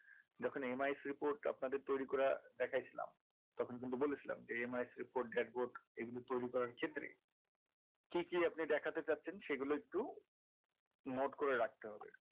যখন MIS report তৈরি করে দেখিয়াছিলাম তখন কিন্তু বলেছিলাম যে MIS report dashboard এগুলো তৈরি করার ক্ষেত্রে কি কি আপনি দেখতে চাইছেন সেগুলো একটু note করে রাখতে হবে